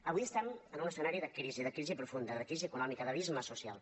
avui estem en un escenari de crisi de crisi profunda de crisi econòmica d’abisme social